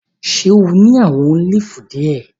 Ṣe o ni awọn olifi diẹ?